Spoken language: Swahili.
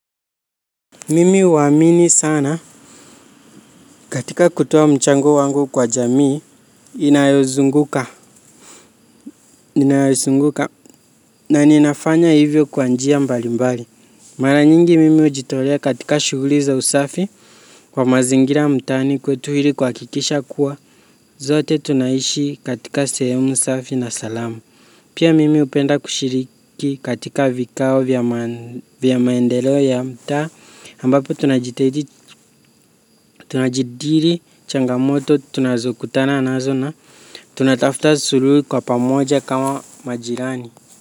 Mimi huamini sana katika kutoa mchango wangu kwa jamii inayozunguka na ninafanya hivyo kwa njia mbali mbali. Mara nyingi mimi hujitolea katika shughuli za usafi kwa mazingira mtaani kwetu ili kuhakikisha kuwa sote tunaishi katika sehemu safi na salama. Pia mimi hupenda kushiriki katika vikao vya maendeleo ya mtaa ambapo tunajadili changamoto tunazo kutana mazo na tunatafuta suluhu kwa pamoja kama majirani.